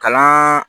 Kalan